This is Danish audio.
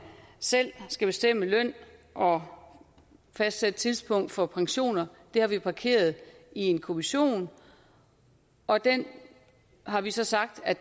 selv skal bestemme løn og fastsætte tidspunkt for pensioner det har vi parkeret i en kommission og den har vi så sagt at